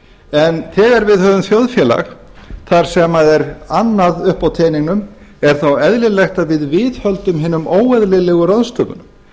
en þegar við höfum þjóðfélag þar sem er annað uppi á teningnum er þá eðlilegt að við viðhöldum hinum óeðlilegu ráðstöfunum